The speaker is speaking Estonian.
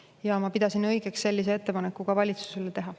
Ja ma pidasin õigeks sellise ettepaneku valitsusele teha.